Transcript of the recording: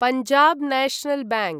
Punjab National bank